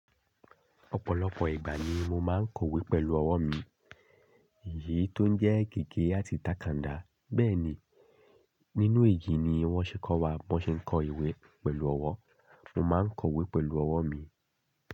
Ọ̀pọ̀lọpọ̀ ìgbà ni mo máa ń kọ̀wé pẹ̀lú ọwọ́ mi, èyí tó ń jẹ́ gege àti takanda. Bẹ́ẹ̀ ni, nínú ìjìní wọ́n ṣe kọ́ wa bó ṣe ń kọ ìwé pẹ̀lú ọwọ́. Mo máa ń kọ̀wé pẹ̀lú ọwọ́ mi.